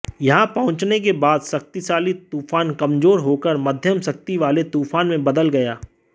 यहां पहुंचने के बाद शक्तिशाली तूफान कमजोर होकर मध्यम शक्ति वाले तूफान में बदल गया